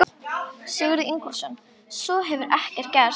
Sigurður Ingólfsson: Svo hefur ekkert gerst?